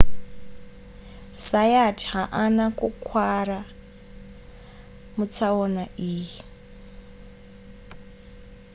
zayat haana kukuvara mutsaona iyi